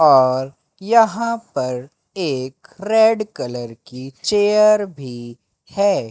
और यहां पर एक रेड कलर की चेयर भी है।